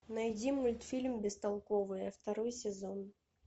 найди мультфильм бестолковые второй сезон